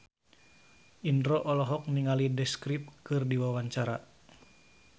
Indro olohok ningali The Script keur diwawancara